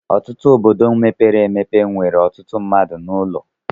Ọtụtụ obodo mepere emepe nwere ọtụtụ mmadụ na ụlọ